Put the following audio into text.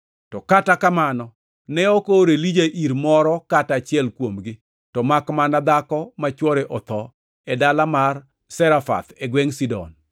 To kata kamano ne ok oor Elija ir moro kata achiel kuomgi, to makmana dhako ma chwore otho e dala mar Zarefath e gwengʼ Sidon.